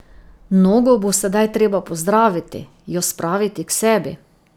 Nogo bo sedaj treba pozdraviti, jo spraviti k sebi.